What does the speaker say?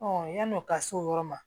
yann'o ka s'o yɔrɔ ma